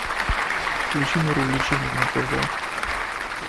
включи мир увлечений на тв